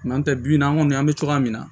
bi bi in na an kɔni an bɛ cogoya min na